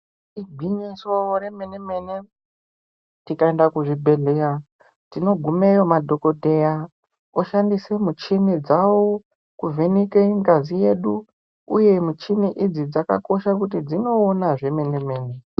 Igwinyiso remenemene tikaenda kuzvibhehleya tinogumeyo madhokodheya oshandise michini dzawo kuvheneka ngazi yedu uye michini idzi dzakakosha kuti dzinoona zvemenemene.